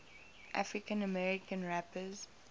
african american rappers